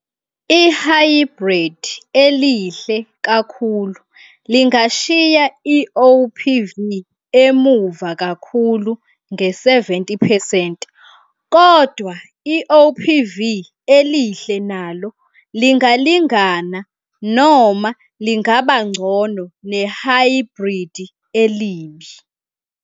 Ihhayibhredi elihle kakhulu lingashiya iOPV emuva kakhulu nge-70 percent. Kodwa iOPV elihle nalo lingalingana noma lingabangcono nehhayibhridi elibi.